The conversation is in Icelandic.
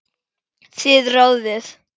Þið ráðið.